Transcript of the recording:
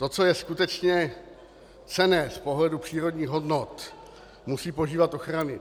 To, co je skutečně cenné z pohledu přírodních hodnot, musí požívat ochrany.